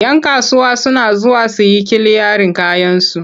Yan kasuwa suna zuwa su yi kiliyarin kayansu.